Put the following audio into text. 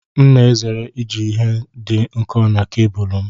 M na-ezere iji ihe dị nkọ n'cabulu m.